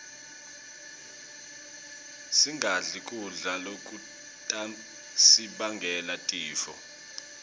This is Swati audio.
singadli kudla lokutasibangela tifo